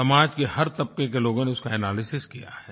समाज के हर तबके के लोगों ने उसका एनालिसिस किया है